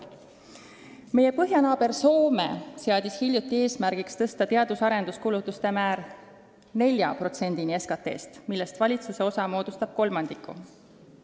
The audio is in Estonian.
Meie põhjanaaber Soome seadis hiljuti eesmärgiks tõsta teadus- ja arenduskulutuste määr 4%-ni SKT-st, millest valitsuse osa moodustab kolmandiku.